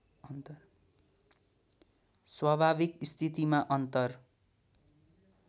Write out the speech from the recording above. स्वाभाविक स्थितिमा अन्तर